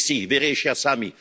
Oni si ich vyriešia sami.